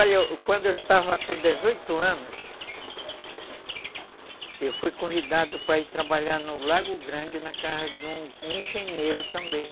Olha, quando eu estava com dezoito anos, eu fui convidado para ir trabalhar no Lago Grande, na casa de um engenheiro também.